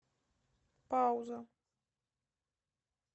пауза